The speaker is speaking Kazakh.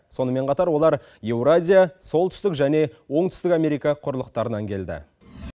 сонымен қатар олар еуразия солтүстік және оңтүстік америка құрлықтарынан келді